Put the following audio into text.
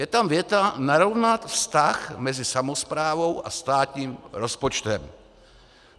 Je tam věta: Narovnat vztah mezi samosprávou a státním rozpočtem.